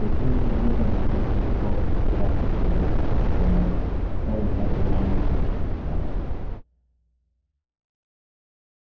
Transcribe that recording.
हम देखते हैं कि दो cell references में cost सब्ट्रैक्ट होती है और परिणाम cell number a9 में प्रदर्शित होता है